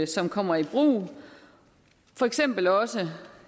som kommer i brug for eksempel også